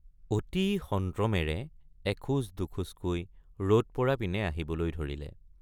অতি সন্ত্ৰমেৰে এখোজ দুখোজকৈ ৰদ পৰা পিনে আহিবলৈ ধৰিলে।